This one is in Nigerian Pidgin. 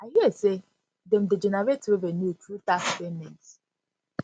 i hear say dem dey generate revenue through tax payments